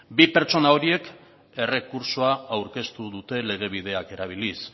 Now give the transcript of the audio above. bi pertsona horiek errekurtso aurkeztu dute legebideak erabiliz